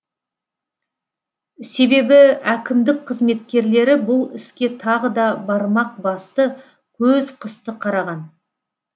себебі әкімдік қызметкерлері бұл іске тағы да бармақ басты көз қысты қараған